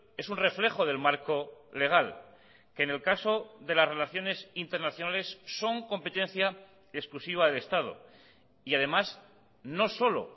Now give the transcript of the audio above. es un reflejo del marco legal que en el caso de las relaciones internacionales son competencia exclusiva del estado y además no solo